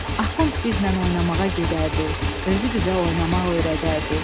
Axund bizlə oynamağa gedərdi, özü bizə oynamaq öyrədərdi.